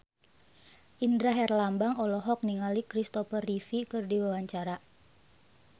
Indra Herlambang olohok ningali Kristopher Reeve keur diwawancara